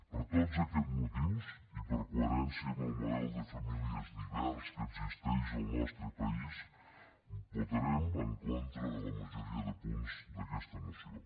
per tots aquests motius i per coherència amb el model de famílies divers que existeix al nostre país votarem en contra de la majoria de punts d’aquesta moció